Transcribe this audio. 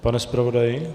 Pane zpravodaji?